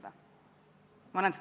Nii et läheme edasi.